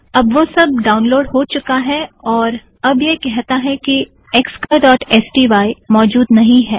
अब वह सब डाउनलोड हो चुका है और अब यह कहता है कि xcolorस्टाई मौजूद नहीं है